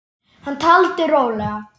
Hann taldi rólega